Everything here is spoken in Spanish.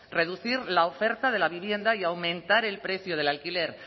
reducir la oferta de la vivienda y aumentar el precio del alquiler